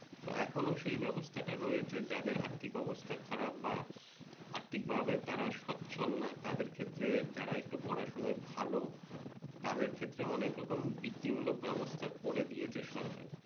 তো এখনও সেই ব্যবস্থাটা রয়েছে যাদের আর্থিক অবস্থা খারাপ বা যারা আর্থিক ভাবে তারা স্বচ্ছল না তাদের ক্ষেত্রে যারা একটু পড়াশুনায় ভালো, তাদের ক্ষেত্রে অনেক রকম বিত্তি মূলক ব্যবস্থা করে দিয়েছে সরকার